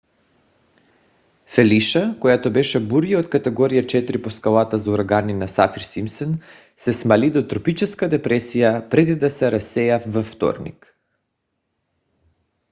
фелиша която беше буря от категория 4 по скалата за урагани на сафир-симпсън се смали до тропическа депресия преди да се разсея във вторник